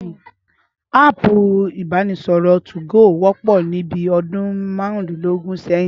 Áàpù ìbánisọ̀rọ̀ 2go wọ́pọ̀ ní bí ọdún márùndínlógún sẹ́yìn